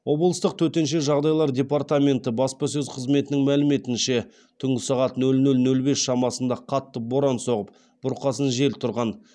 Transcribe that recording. облыстық төтенше жағдайлар департаменті баспасөз қызметінің мәліметінше түнгі сағат нөл нөл нөл бес шамасында қатты боран соғып бұрқасын жел тұрған